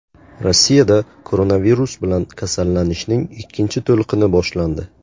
Rossiyada koronavirus bilan kasallanishning ikkinchi to‘lqini boshlandi.